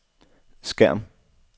skærm